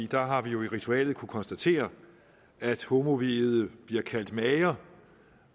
der har vi jo i ritualet kunnet konstatere at homoviede bliver kaldt mager